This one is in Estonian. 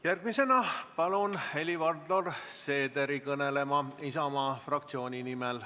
Järgmisena palun kõnelema Helir-Valdor Seederi Isamaa fraktsiooni nimel.